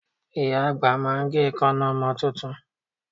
Ìyá àgbà máa gé èékánná ọmọ tuntun